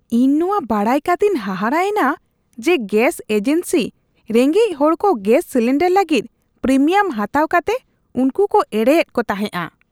ᱤᱧ ᱱᱚᱶᱟ ᱵᱟᱰᱟᱭ ᱠᱟᱛᱮᱧ ᱦᱟᱦᱟᱲᱟ ᱮᱱᱟ ᱡᱮ ᱜᱮᱥ ᱮᱡᱮᱱᱥᱤ ᱨᱮᱸᱜᱮᱡᱽ ᱦᱚᱲᱠᱚ ᱜᱮᱥ ᱥᱤᱞᱤᱱᱰᱟᱨ ᱞᱟᱹᱜᱤᱫ ᱯᱨᱤᱢᱤᱭᱟᱢ ᱦᱟᱛᱟᱣ ᱠᱟᱛᱮ ᱩᱱᱠᱩ ᱠᱚ ᱮᱲᱮᱭᱮᱫ ᱠᱚ ᱛᱟᱦᱮᱸᱜᱼᱟ ᱾